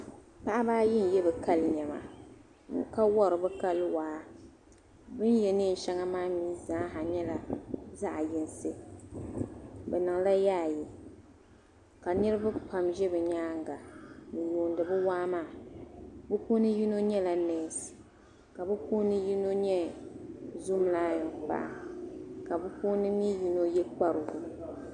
Paɣibi ayi n ye bikali nema ka wari bi kali waa , bin ye neen' shaŋa maa mi. zaa nyɛla zaɣi yinsi, bi niŋla, yaayi, ka niribi pam zɛ bi nyaaŋa n yuuni bi waa maa bi puuni yinɔ nyɛla nese, ka bi puuni nyinɔ nyɛ zom layɔng paɣa ,ka bipuuni nyinɔ ye kparili,